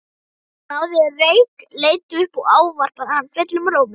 Jón náði reyk, leit upp og ávarpaði hann fullum rómi.